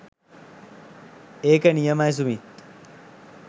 ඒක නියමයි සුමිත්